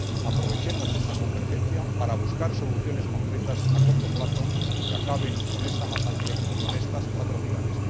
Aprovechemos esa convergencia para buscar soluciones concretas a corto plazo que acaben con esta masacre y con estas atrocidades.